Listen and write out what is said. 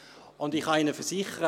Ich kann Ihnen versichern: